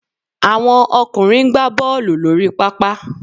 Àwọn ọkùnrin ń gbá Bọ́ọ̀lù lórí pápá